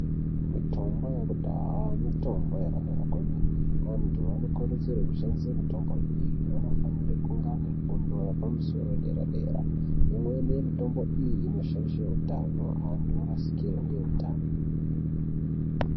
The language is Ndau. Mitombo yekudhaya, mitombo yakanaka kwemene, antu anokurudzirwe kushandise mitombo iyi anofanire kunga ane fundo yepamusoro yedera-dera. Imweni yemitombo iyi inoshaishe utano ,antu orasikirwe ngeutano .